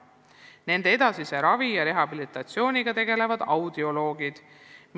Nende edasise ravi ja rehabilitatsiooniga tegelevad audioloogid.